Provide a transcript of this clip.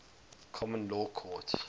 common law courts